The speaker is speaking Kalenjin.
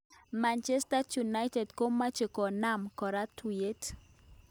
Manchester United komache konam kora tuyet.